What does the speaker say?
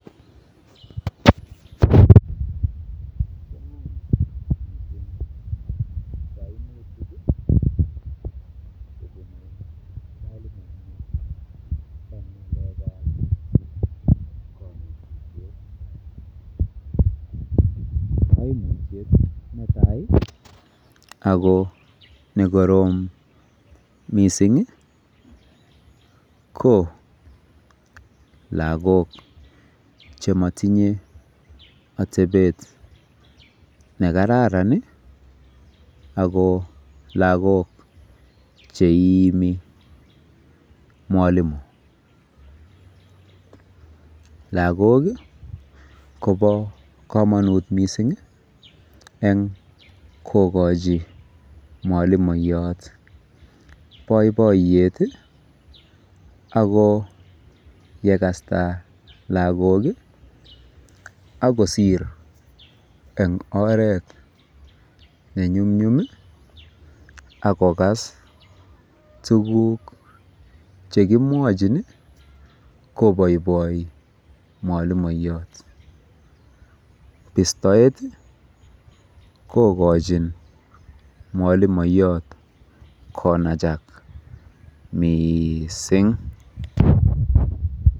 Kaimutiet netai ako nekorom mising ko lagok chematinye atebet nekararan ako lagook cheiimi mwalimu. Lagok kobo komonut mising eng kokochi mwalimoiyot boiboiyet